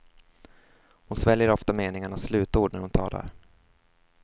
Hon sväljer ofta meningarnas slutord när hon talar.